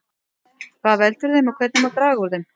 Hvað veldur þeim og hvernig má draga úr þeim?